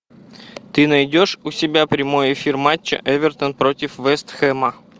ты найдешь у себя прямой эфир матча эвертон против вест хэма